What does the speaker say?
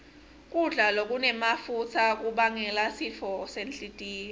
kudla lokunemafutsa kubangela sifo senhlitiyo